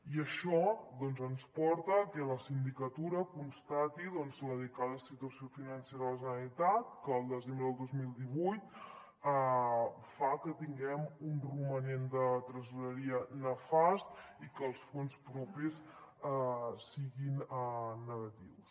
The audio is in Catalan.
i això doncs ens porta a que la sindicatura constati la delicada situació financera de la generalitat que al desembre del dos mil divuit fa que tinguem un romanent de tresoreria nefast i que els fons propis siguin negatius